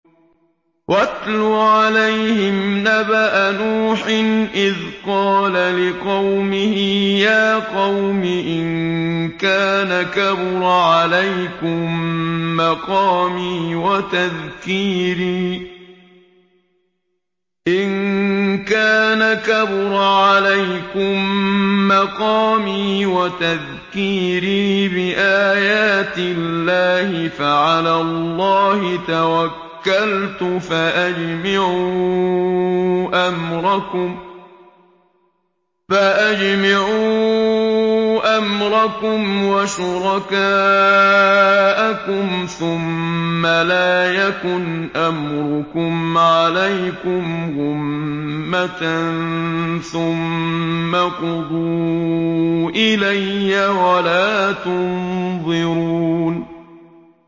۞ وَاتْلُ عَلَيْهِمْ نَبَأَ نُوحٍ إِذْ قَالَ لِقَوْمِهِ يَا قَوْمِ إِن كَانَ كَبُرَ عَلَيْكُم مَّقَامِي وَتَذْكِيرِي بِآيَاتِ اللَّهِ فَعَلَى اللَّهِ تَوَكَّلْتُ فَأَجْمِعُوا أَمْرَكُمْ وَشُرَكَاءَكُمْ ثُمَّ لَا يَكُنْ أَمْرُكُمْ عَلَيْكُمْ غُمَّةً ثُمَّ اقْضُوا إِلَيَّ وَلَا تُنظِرُونِ